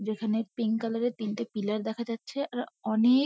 যেখানে pink colour -এর তিনটে পিলার দেখা যাচ্ছে আর অনে-এ-ক--